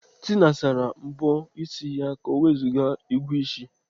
Tina sara mbọ ịsị ka ọ wezuga ịgụ ịsị.